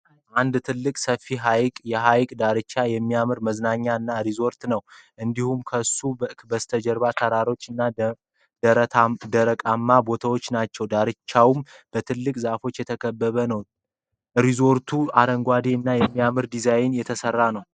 አንድ ትልቅ ሰፌ ሃይቅ ፤ የሃይቁ ዳርቻም የሚያምር መዝናኛ እና ሪዞርት ነው። እንድሁም ከሱ በስተጀርባ ተራሮች እና ደረቃማ ቦታወች ናቸው። ዳርቻውም በትልልቅ ዛፎች የተከበበ ነው። ሪዞርቱም አረንጓደ እና በሚያምር ድዛይን የተሰራ ነው።